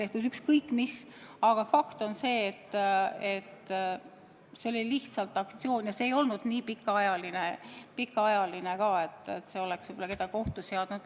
Aga ükskõik mis – fakt on see, et see oli lihtsalt aktsioon ja see ei olnud nii pikaajaline ka, et oleks kedagi ohtu seadnud.